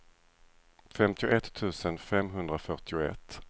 femtioett tusen femhundrafyrtioett